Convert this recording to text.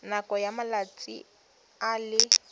nakong ya malatsi a le